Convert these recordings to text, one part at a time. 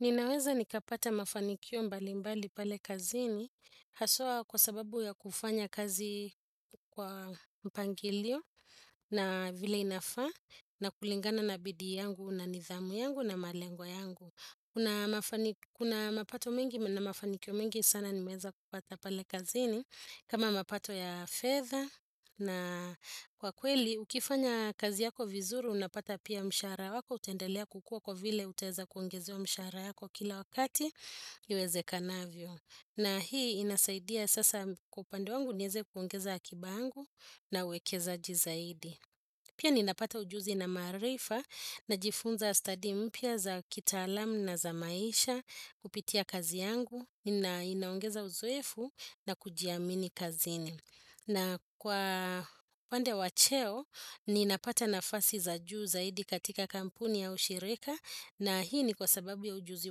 Ninaweza nikapata mafanikio mbali mbali pale kazini haswa kwa sababu ya kufanya kazi kwa mpangilio na vile inafaa na kulingana na bidi yangu na nidhamu yangu na malengo yangu. Kuna mapato mengi na mafanikio mengi sana nimeanza kupata pale kazini kama mapato ya fedha na kwa kweli ukifanya kazi yako vizuru unapata pia mshara wako utaendelea kukua kwa vile utaweza kuongezewa mshara yako kila wakati iwezekanavyo. Na hii inasaidia sasa kwa upande wangu niweze kuongeza akiba yangu na uwekezaji zaidi. Pia ninapata ujuzi na maarifa najifunza study mpya za kitaalamu na za maisha kupitia kazi yangu na inaongeza uzoefu na kujiamini kazini. Na kwa pande wa cheo ninapata nafasi za juu zaidi katika kampuni au shirika na hii ni kwa sababu ya ujuzi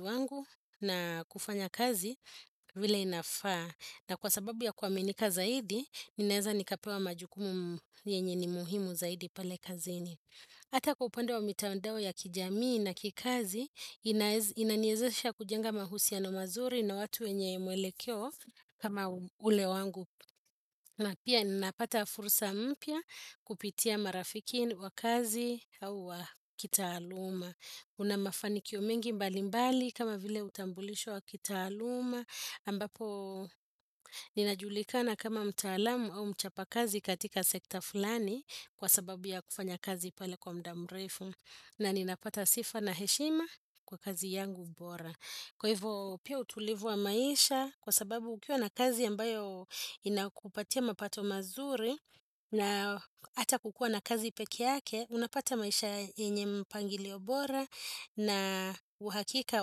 wangu na kufanya kazi vile inafaa. Na kwa sababu ya kuaminika zaidi, ninaeza nikapewa majukumu yenye ni muhimu zaidi pale kazini. Hata kwa upande wa mitandao ya kijamii na kikazi, inaniwezesha kujenga mahusiano mazuri na watu wenye mwelekeo kama ule wangu. Na pia ninapata fursa mpya kupitia marafiki wa kazi au wa kitaaluma. Una mafanikio mengi mbalimbali kama vile utambulisho wa kitaaluma. Ambapo ninajulikana kama mtaalamu au mchapa kazi katika sekta fulani kwa sababu ya kufanya kazi pale kwa muda mrefu na ninapata sifa na heshima kwa kazi yangu bora kwa hivyo pia utulivu wa maisha kwa sababu ukiwa na kazi ambayo inakupatia mapato mazuri na ata kukuwa na kazi peki yake unapata maisha yenye mpangilio bora na uhakika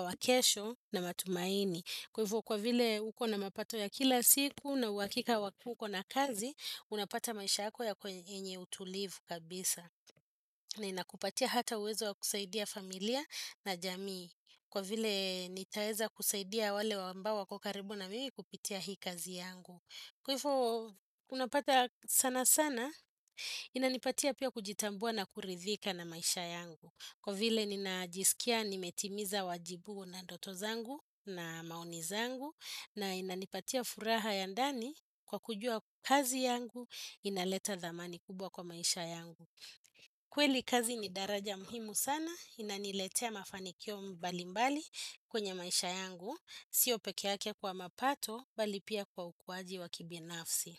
wakesho na matumaini Kwa hivyo kwa vile uko na mapato ya kila siku na uhakika uko na kazi, unapata maisha yenye utulivu kabisa. Na inakupatia hata uwezo wa kusaidia familia na jamii. Kwa vile nitaweza kusaidia wale ambao wako karibu na mimi kupitia hii kazi yangu. Kwa hivyo unapata sanasana, inanipatia pia kujitambua na kuridhika na maisha yangu. Kwa vile ninajisikia nimetimiza wajibu na ndoto zangu na maoni zangu na inanipatia furaha ya ndani kwa kujua kazi yangu inaleta thamani kubwa kwa maisha yangu. Kweli kazi ni daraja muhimu sana inaniletea mafanikio mbalimbali kwenye maisha yangu. Sio pekee yake kwa mapato bali pia kwa ukuwaji wa kibinafsi.